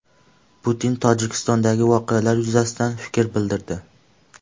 Putin Tojikistondagi voqealar yuzasidan fikr bildirdi.